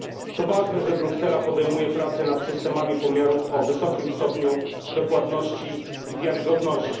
To ważne, że Bruksela podejmuje prace nad systemami pomiarów o wysokim stopniu dokładności i wiarygodności.